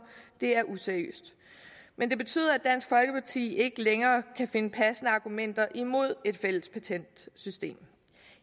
er useriøst men det betyder at dansk folkeparti ikke længere kan finde passende argumenter imod et fælles patentsystem